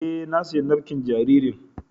E, na siyo nafƙin jaririn.